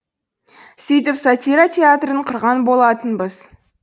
сөйтіп сатира театрын құрған болатынбыз